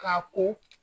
K'a ko